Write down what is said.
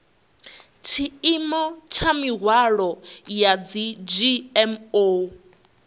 tshiimo tsha mihwalo ya dzgmo